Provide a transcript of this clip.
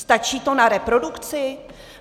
Stačí to na reprodukci?